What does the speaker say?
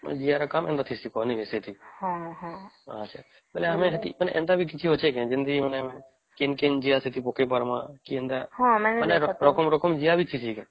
ଯିଏ ର କାମ ଏଇଟା ହେଇକି ନାଇଁ ବୋଇଲେ ଏମିତି କିଛି ଅଛି କି ମାନେ କିନ କିନ ଜିଆ ଆମେ ସେଠି ପକେଇ ପାରିବ ମାନେ ରକମ ରକମ ର ଜିଆ ବି ଠିଁସି କେ